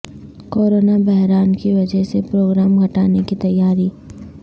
corona بحران کی وجہ سے پروگرام گھٹانے کی تیاری